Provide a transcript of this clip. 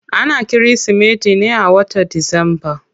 Ana kirismeti ne a wata disamba.